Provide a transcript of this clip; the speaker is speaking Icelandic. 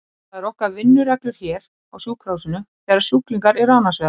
Það er okkar vinnuregla hér á sjúkrahúsinu þegar sjúklingar eru annars vegar.